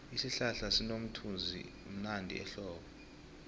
isihlahla sinomthunzivmnandi ehlobo